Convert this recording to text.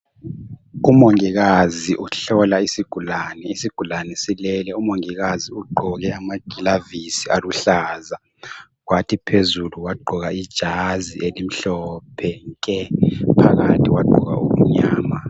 Umongikazi uhlola isigulane. Isigulane silele .Umongikazi ugqoke amagilavisi aluhlaza kwathi phezulu wagqoka ijazi elimhlophe nke phakathi wagqoka okumnyama .